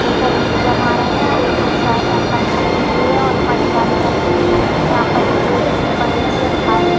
लेकर ईट जमा रहे है और एक ओर साइड अंकल खड़े हुए है और पटिया भी रखे हुए है यहाँ पर बोरी भी पड़ी हुए है खाली।